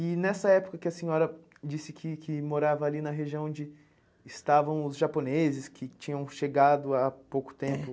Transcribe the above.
E nessa época que a senhora disse que que morava ali na região onde estavam os japoneses, que tinham chegado há pouco tempo.